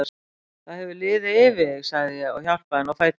Það hefur liðið yfir þig, sagði ég og hjálpaði henni á fætur.